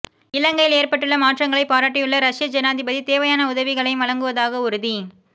இலங்கையில் ஏற்பட்டுள்ள மாற்றங்களை பாராட்டியுள்ள ரஷ்ய ஜனாதிபதி தேவையான உதவிகளையும் வழங்குவதாக உறுதி